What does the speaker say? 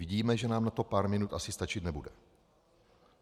Vidíme, že nám na to pár minut asi stačit nebude.